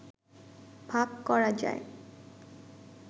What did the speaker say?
ভাগ করা যায়।